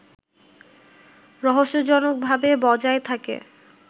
রহস্যজনকভাবে বজায় থাকে